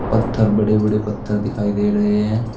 पत्थर बड़े बड़े पत्थर दिखाई दे रहे हैं।